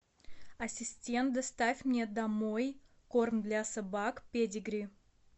ассистент доставь мне домой корм для собак педигри